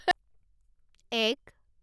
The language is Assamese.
এক